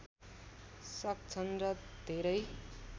सक्छन् र धेरै